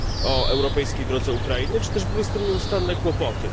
o europejskiej drodze Ukrainy, czy też były z tym nieustanne kłopoty?